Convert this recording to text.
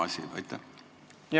On see sama asi?